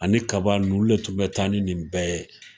Ani kaba olu de tun be taa ni nin bɛɛ ye.